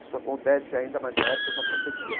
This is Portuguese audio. Isso acontece ainda, mas na época já acontecia.